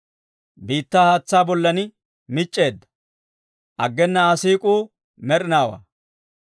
Biittaa haatsaa bollan mic'c'eedda; aggena Aa siik'uu med'inaawaa.